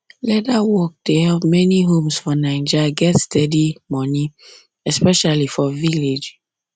leather work dey help many homes for naija get steady money especially for village